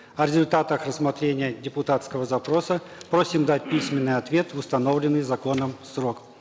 о результатах рассмотрения депутатского запроса просим дать письменный ответ в установленный законом срок